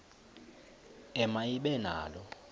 ema ibe nalo